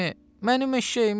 Mənim eşşəyimi!